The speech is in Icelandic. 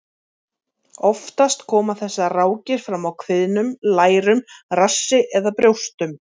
Oftast koma þessar rákir fram á kviðnum, lærum, rassi eða brjóstum.